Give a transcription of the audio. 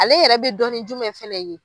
Ale yɛrɛ bɛ dɔn ni jumɛn fana ye?